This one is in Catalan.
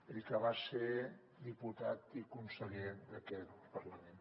ell que va ser diputat i conseller d’aquest parlament